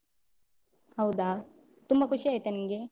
ಹೌದಾ, ತುಂಬ ಖುಷಿ ಆಯ್ತಾ ನಿಂಗೆ?